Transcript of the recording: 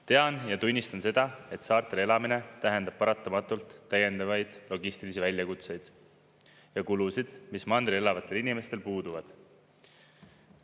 Tean ja tunnistan seda, et saartel elamine tähendab paratamatult täiendavaid logistilisi väljakutseid ja kulusid, mis mandril elavatel inimestel puuduvad.